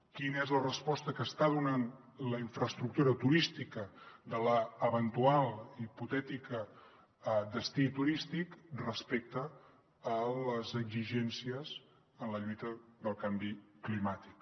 quina és la resposta que està donant la infraestructura turística de l’eventual hipotètic destí turístic respecte a les exigències en la lluita del canvi climàtic